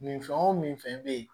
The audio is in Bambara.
Min fɛn o fɛn bɛ yen